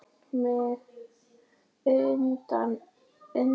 Oft slegið sjálfan mig utan undir.